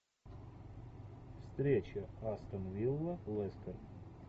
встреча астон вилла лестер